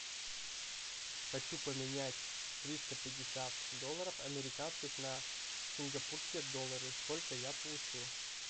хочу поменять триста пятьдесят долларов американских на сингапурские доллары сколько я получу